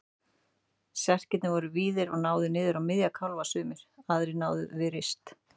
Serkirnir voru víðir og náðu niður á miðja kálfa sumir, aðrir námu við rist.